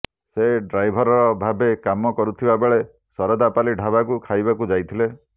ସେ ଡ୍ରାଇଭର ଭାବେ କାମ କରୁଥିବାବେଳେ ଶରଧାପାଲି ଢାବାକୁ ଖାଇବାକୁ ଯାଇଥିଲେ